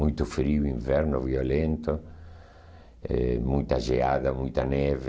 Muito frio, inverno violento, eh muita geada, muita neve.